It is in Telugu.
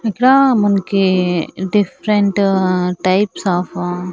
ఇక్కడా మనకి డిఫరెంట్ టైప్స్ ఆఫు --